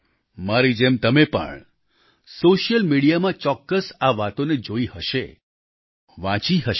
મારી જેમ તમે પણ સોશિયલ મીડિયામાં ચોક્કસ આ વાતોને જોઈ હશે વાંચી હશે